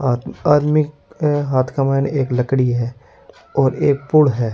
आदमी आदमी के हाथ के मैं एक लकड़ी है और एक पुल है।